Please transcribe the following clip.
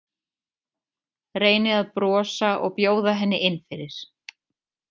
Reyni að brosa og bjóða henni inn fyrir.